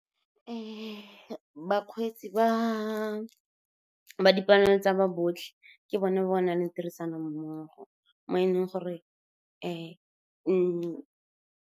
Bakgweetsi ba dipalangwa tsa ba botlhe ke bone ba ba nang le tirisanommogo, mo e leng gore .